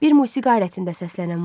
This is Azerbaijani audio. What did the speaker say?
Bir musiqi alətində səslənən muğam.